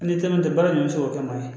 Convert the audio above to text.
N'i teriman tɛ baara ɲɛsin o kama